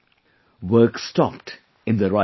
Work stopped in their rice mill